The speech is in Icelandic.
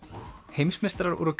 heimsmeistarar voru